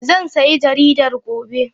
Zan sayi jaridar gobe.